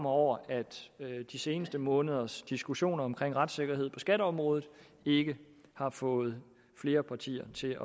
over at de seneste måneders diskussion om retssikkerhed på skatteområdet ikke har fået flere partier til